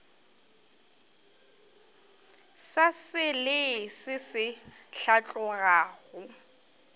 sa selee se se hlatlogago